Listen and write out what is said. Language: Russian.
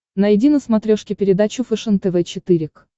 найди на смотрешке передачу фэшен тв четыре к